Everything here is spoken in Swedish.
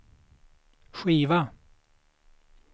skiva